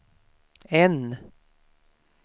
N